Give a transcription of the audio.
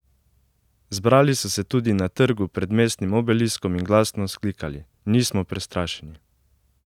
Zbrali so se tudi na trgu pred mestnim obeliskom in glasno vzklikali: "Nismo prestrašeni".